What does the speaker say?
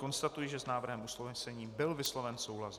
Konstatuji, že s návrhem usnesení byl vysloven souhlas.